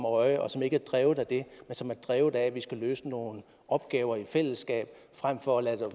øje og som ikke er drevet af det men som er drevet af at vi skal løse nogle opgaver i fællesskab frem for at lade det